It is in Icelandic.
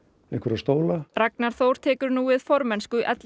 einhverja stóla Ragnar Þór tekur nú við formennsku